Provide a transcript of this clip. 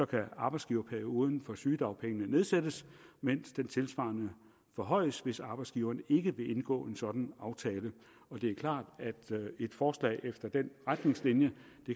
kan arbejdsgiverperioden for sygedagpengene nedsættes mens den tilsvarende forhøjes hvis arbejdsgiverne ikke vil indgå en sådan aftale det er klart at et forslag efter de retningslinjer